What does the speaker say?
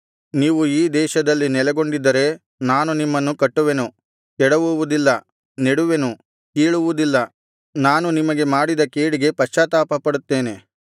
ನೀವು ಈ ದೇಶದಲ್ಲಿ ನೆಲೆಗೊಂಡಿದ್ದರೆ ನಾನು ನಿಮ್ಮನ್ನು ಕಟ್ಟುವೆನು ಕೆಡವುವುದಿಲ್ಲ ನೆಡುವೆನು ಕೀಳುವುದಿಲ್ಲ ನಾನು ನಿಮಗೆ ಮಾಡಿದ ಕೇಡಿಗೆ ಪಶ್ಚಾತ್ತಾಪಪಡುತ್ತೇನೆ